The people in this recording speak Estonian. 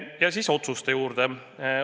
Ja nüüd otsuste juurde.